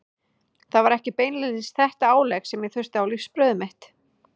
Það var ekki beinlínis þetta álegg sem ég þurfti á lífsbrauðið mitt.